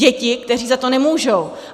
Děti, které za to nemůžou.